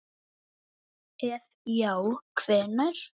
ef já hvenær??